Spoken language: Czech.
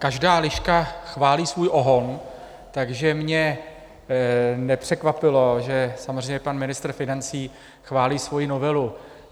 Každá liška chválí svůj ohon, takže mě nepřekvapilo, že samozřejmě pan ministr financí chválí svoji novelu.